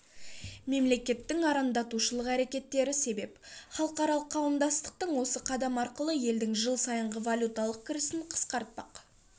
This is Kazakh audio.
мемлекеттің арандатушылық әрекеттері себеп халықаралық қауымдастық осы қадам арқылы елдің жыл сайынғы валюталық кірісін қысқартпақ